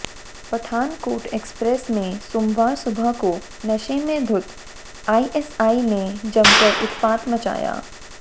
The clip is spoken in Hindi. पठानकोट एक्सप्रेस में सोमवार सुबह को नशे में धुत एएसआई ने जमकर उत्पात मचाया